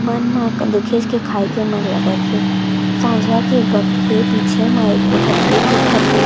मन ना दिखे च के खाये के मन लगत हे साँझा के वक़्त हे पीछे म एको ठ पेड़ दिखत हे।